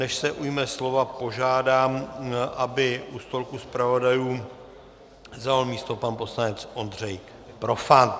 Než se ujme slova, požádám, aby u stolku zpravodajů zaujal místo pan poslanec Ondřej Profant.